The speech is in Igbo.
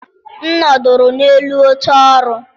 M nọdụrụ n'elu oche ọrụ.